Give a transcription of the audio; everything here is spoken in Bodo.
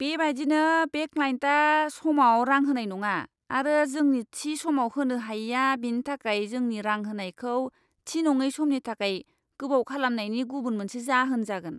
बेबायदिनो, बे क्लाइन्टआ समाव रां होनाय नङा आरो जोंनि थि समाव होनो हायैआ बिनि थाखाय जोंनि रां होनायखौ थि नङै समनि थाखाय गोबाव खालामनायनि गुबुन मोनसे जाहोन जागोन।